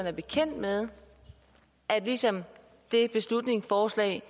er bekendt med at ligesom ved det beslutningsforslag